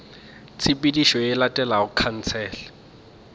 tshepedišo ye e latelago khansele